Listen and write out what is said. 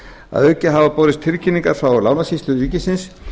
að auki hafa borist tilkynningar frá lánasýslu ríkisins